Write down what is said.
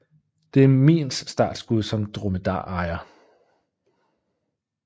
Det er Miins startskud som dromedarejer